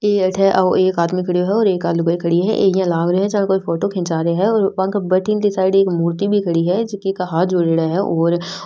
ये अठे ओ एक आदमी खड़ो है और एक आ लुगाई खड़ी है इया लाग रो है कोई फोटो खींचा रो है और बांक बठन साइड एक मूर्ति भी खड़ी है जकी का हाथ जोडेढ़ा है और --